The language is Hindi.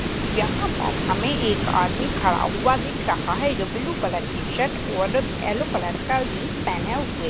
यहां पर हमें एक आदमी खड़ा हुआ दिख रहा है जो ब्लू कलर की शर्ट और येलो कलर का जीन्स पहने हुए--